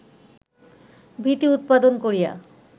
ভীতি উৎপাদন করিয়া